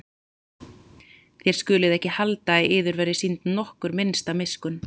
Þér skuluð ekki halda að yður verði sýnd nokkur minnsta miskunn.